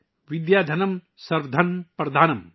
ودیا دھانم سروا دھانم پردھانم